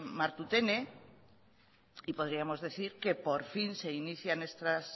martutene y podríamos decir que por fin se inician estas